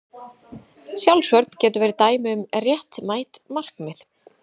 Sjálfsvörn getur verið dæmi um réttmætt markmið.